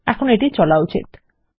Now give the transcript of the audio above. এখন এটির চইলা উচিত